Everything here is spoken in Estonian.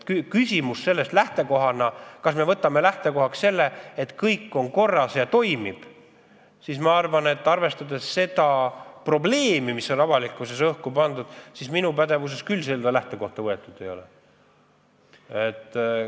Kui me tahame võtta lähtekohaks arusaama, et kõik on korras ja toimib, siis arvestades seda probleemi, mis on avalikkuses õhku tõusnud, mina küll pole pädev seda lähtekohta võtma.